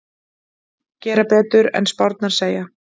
Gera betur en spárnar segja